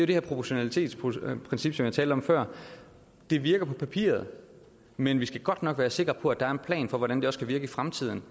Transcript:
det her proportionalitetsprincip som jeg talte om før det virker på papiret men vi skal godt nok være sikre på at der er en plan for hvordan det også skal virke i fremtiden